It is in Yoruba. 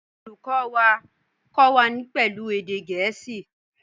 Olùkọ́ wa kọ́ wa pẹ̀lú èdè Gẹ̀ẹ́sì